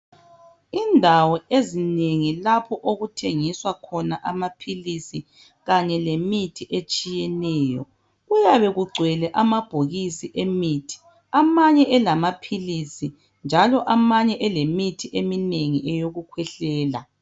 Indawo ezinengi lapho okuthengiswa khona amaphilisi kanye lemithi etshiyeneyo kuyabe kugcwele amabhokisi lemithi amanye elamaphilisi njalo amanye elemithi eminengi eyokukhwehlela.